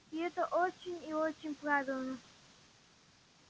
и это очень и очень правильно